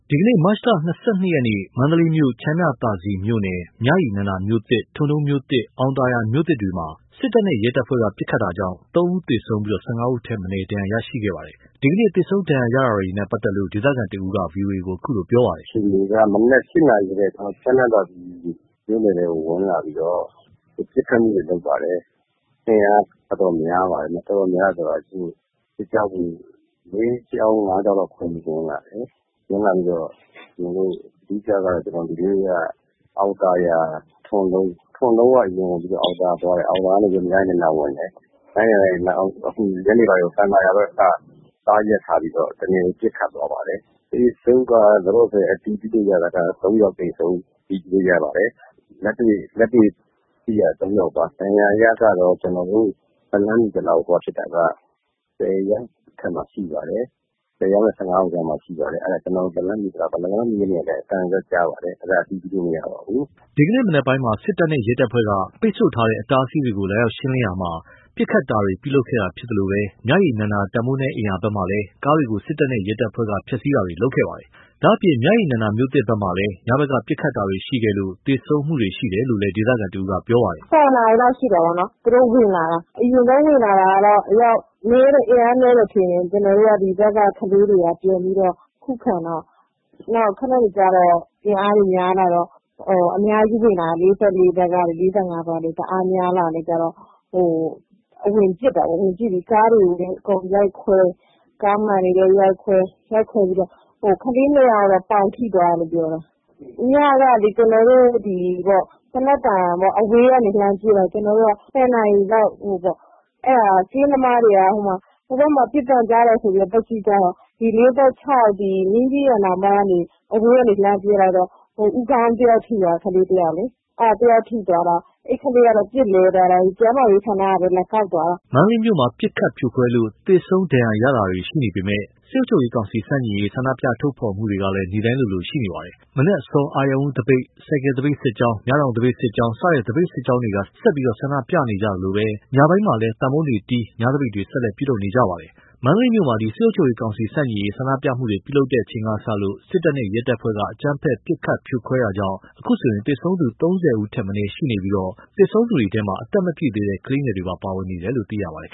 ဒီကနေ့ မတ်လ ၂၂ ရက်နေ့ မန္တလေးမြို့ချမ်းမြသာစည်မြို့နယ် မြရည်နန္ဒာမြို့သစ် ထွန်တုံးမြို့သစ် အောင်သာယာ မြို့သစ်တို့မှာ စစ်တပ်နဲ့ ရဲတပ်ဖွဲ့က ပစ်ခတ်တာကြောင့် ၃ ဦးသေဆုံးပြီး ၁၅ ဦးထက်မနည်း ဒဏ်ရာ ရရှိခဲ့ပါတယ်။ ဒီကနေ့ သေဆုံး ဒဏ်ရာရတာနဲ့ပတ်သက်လို့ ဒေသခံတဦးက ဗွီအိုအေကို အခုလိုပြောပါတယ်။ “လက်ရှိအခြေအနေက မနက် ၈ နာရီကတည်းက ချမ်းမြသာစည်မြို့နယ်ထဲကို ဝင်လာပြီးတော့ ပစ်ခတ်မှုတွေ လုပ်ပါတယ်။ အင်အားတော်တော်များပါတယ်။ စစ်ကြောင်း ၄ ကြောင်း၊ ၅ ကြောင်းလောက် ခွဲပြီးဝင်လာတယ်။ အဓိကက ဒီနေ့က အောင်သာယာ ထွန်တုံးကိုအရင်ဝင်တယ် ထွန်တုံးကနေ အောင်သာယာ ပြီးတော့ မြရည်နန္ဒကို ဝင်တယ်။ ပြီးတော့အခု ညနေပိုင်းမှာ အောင်သာယာဘက်မှာ ကားရပ်ထားပြီတော့ ပစ်ခတ်သွား ပါတယ်။ သေဆုံးက လက်ရှိ အတည်ပြုလို့ရတာက ၃ ယောက်သေဆုံးလို့ အတည်ပြုလို့ရပါတယ်။ လက်တွေ့သိတာ ၃ ယောက်ပါ ဒဏ်ရာရတာကတော့ လက်လှမ်းမှီသလောက် စုံစမ်းကြည့်တာက ၁၀ ယောက်နဲ့ အထက်မှာ ရှိပါတယ်။ ၁၀ ယောက်နဲ့ ၁၅ ယောက်ကြားမှာပါ။ အဲ့ဒါကျွန်တော်တို့ လက်လှမ်းမှီသလောက်ပါ။ ကျနော်တို့ လက်လှမ်းမမှီတဲ့ နေရာတွေမှာလည်း အသံတွေတော့ ကြားပါတယ်။ အဲ့ဒါကတော့ အတည်ပြုလို့မရပါဘူး။” ဒီကနေ့ မနက်ပိုင်းမှာ စစ်တပ်နဲ့ ရဲတပ်ဖွဲ့က ပိတ်ထားတဲ့ အတားအဆီးတွေကို လာရောက်ရှင်းလင်းရာမှာ ပစ်ခတ်တာတွေ ပြုလုပ်ခဲ့တာဖြစ်သလို မြရည်နန္ဒာ တန်ဖိုးနည်းအိမ်ယာဘက်မှာလည်း ကားတွေကို စစ်တပ်နဲ့ ရဲတပ်ဖွဲ့က ဖျက်ဆီးတာတွေ ပြုလုပ်ခဲ့ပါတယ်။ ဒါ့အပြင် မြရည်နန္ဒမြို့သစ်ဘက်မှာလည်း ညဘက်က ပစ်ခတ်တာတွေ ရှိခဲ့လို့ သေဆုံးခဲ့တာတွေလည်းရှိတယ်လို့ ဒေသခံတစ်ဦးက ပြောပါတယ်။ “သူတို့ဝင်လာတော့ အရင်ဆုံး ကျနော်တို့က အင်အားနည်းတယ်ထင်ပြီး ဒီဘက်က ကလေးတွေက ပြန်ပြီးခုခံတော့ ခဏနေကျတော့ အင်အားတွေ များလာတော့ ၄၄ ဘက်ကရော၊ ၄၅ ဘက်ကရော အင်အားတွေ တအားများလာတော့ ဝင်ပစ်တယ်ပေါ့။ ကားတွေအကုန်ရိုက်ခွဲ ကားမှန်တွေလည်း ရိုက်ခွဲ ကလေး ၂ ယောက်ကတော့ ပေါင်ထိသွားတယ်။ ညကလည်း ကျနော်တို့ သေနတ်သံကို အဝေးကနေ လှမ်းကြည့်တော့ ၁၀ နာရီလောက်မှာ ကင်းသမားတွေက ဟိုဘက်မှာ ပစ်သံကြားတယ်ဆိုပြီး သွားကြည့်ကြတော့ ၄၆ မင်းကြီးရန်နောင်ဘက်ကနေ အဝေးက လှမ်းပစ်လိုက်တာ ဦးခေါင်းတယောက် ထိသွားတယ်။ ကလေးတယောက်လေ အဲ့ဒီကလေးကတော့ ပစ်လဲသွားတယ်။ ကျန်းမာရေးဌာနကပဲ လာကောက်သွားတယ်။” မန္တလေးမြို့မှာ ပစ်ခတ်ဖြိုခွင်းလို့ သေဆုံးဒဏ်ရာရတာတွေ ရှိနေပေမဲ့ စစ်ကောင်စီ ဆန့်ကျင်ရေး ဆန္ဒထုတ်ဖော်မှုတွေကလည်း နေ့တိုင်း ရှိနေပါတယ်။ မနက်အစော အာရုဏ်ဦး သပိတ်၊ ဆိုင်ကယ် သပိတ်စစ်ကြောင်း၊ မြတောင် သပိတ်စစ်ကြောင်းစတဲ့ သပိတ်စစ်ကြောင်းတွေက ဆက်လက် ဆန္ဒထုတ်ဖော်နေကြသလို ညဘက်မှာလည်း သံပုံးတီးပြီး ညသပိတ်တွေ ဆက်လက်ပြုလုပ်နေတာဖြစ်ပါတယ်။ မန္တလေးမှာ စစ်ကောင်စီ ဆန့်ကျင်ရေး ဆန္ဒပြမှုတွေ ပြုလုပ်တဲ့အချိန်ကစလို့ စစ်တပ်နဲ့ ရဲတပ်ဖွဲ့က အကြမ်းဖက်ပစ်ခတ် ဖြိုခွင်းတာကြောင့် သေဆုံးသူ ၃၀ ဦးထက်မနည်း ရှိနေပြီး သေဆုံးသူတွေထဲမှာ အသက်မပြည့်သေးတဲ့ ကလေးငယ်တွေပါ ပါဝင်နေပါတယ်လို့ သိရပါတယ်